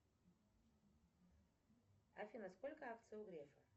афина сколько акций у грефа